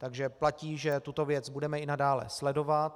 Takže platí, že tuto věc budeme i nadále sledovat.